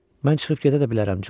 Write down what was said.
Mən çıxıb gedə də bilərəm, Corc.